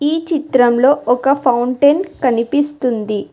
ఈ చిత్రంలో ఒక ఫౌంటెన్ కనిపిస్తుంది.